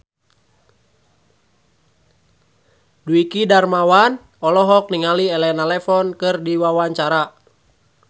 Dwiki Darmawan olohok ningali Elena Levon keur diwawancara